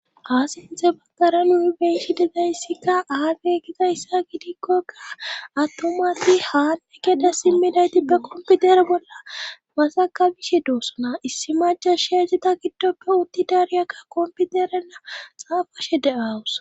asinthe baggara nui beishi degayssikka aage gidayssa gidikkokka attomati haanne gede simminaytippe komputere bolla masakabishe doossona issi maja sheyajeta giddoppe utti daariyakka komputerenna xaafashe de7awus